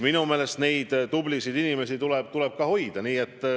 Minu meelest neid tublisid inimesi tuleb hoida.